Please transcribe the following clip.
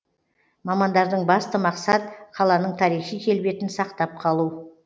мамандардың басты мақсат қаланың тарихи келбетін сақтап қалу